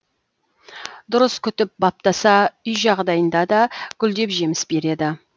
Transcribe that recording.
дұрыс күтіп баптаса үй жағдайында да гүлдеп жеміс береді